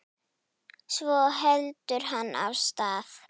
Svo heldur hann af stað.